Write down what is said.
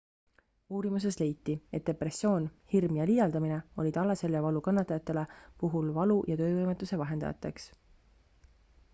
uurimuses leiti et depressioon hirm ja liialdamine olid alaseljavalu kannatajate puhul valu ja töövõimetuse vahendajateks